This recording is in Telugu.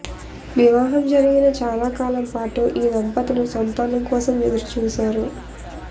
వివాహం జరిగిన చాలా కాలంపాటు ఈ దంపతులు సంతానం కోసం ఎదురుచూశారు